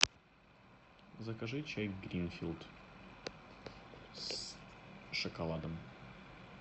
закажи чай гринфилд с шоколадом